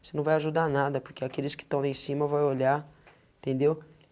Você não vai ajudar nada, porque aqueles que estão em cima vão olhar, entendeu?